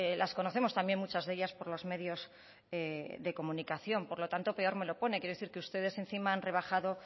las conocemos también muchas de ellas por los medios de comunicación por lo tanto peor me lo pone quiero decir que ustedes encima han rebajado